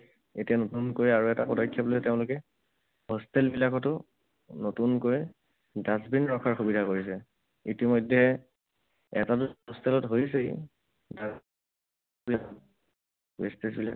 এতিয়া নতুনকৈ আৰু এটা পদক্ষেপ লৈ তেওঁলোকে hostel বিলাকতো নতুনকৈ dustbin ৰখাৰ সুবিধা কৰিছে। ইতিমধ্যে এটা দুটা hostel ত হৈছেই। Wastage বিলাক